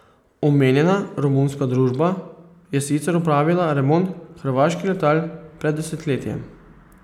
Omenjena romunska družba je sicer opravila remont hrvaških letal pred desetletjem.